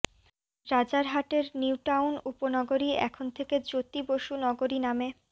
রাজারহাটের New Town উপনগরী এখন থেকে জ্যোতি বসু নগরী নামে